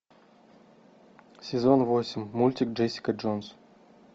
сезон восемь мультик джессика джонс